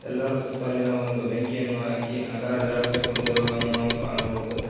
ಎಲ್ಲಾರು ಸುತ್ತಲಿನ ಒಂದು ಬೆಂಕಿಯನ್ನು ಹಾಕಿ ಅದರ ಝಳಕೆ ಕುಂತಿರುದನ್ನು ನಾವು ಕಾಣಬಹುದು.